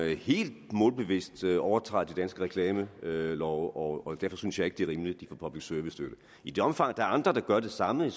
helt målbevidst overtræder de danske reklamelove og derfor synes jeg ikke det er rimeligt de får public service støtte i det omfang der er andre der gør det samme